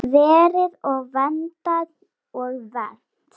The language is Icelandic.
Verið og verndað og vermt.